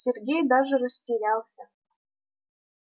сергей даже растерялся